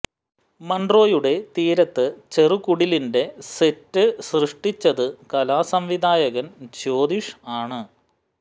മൺട്രോയുടെ തീരത്ത് ചെറു കുടിലിന്റെ സെറ്റ് സൃഷ്ടിച്ചത് കലാസംവിധായകൻ ജ്യോതിഷ് ആണ്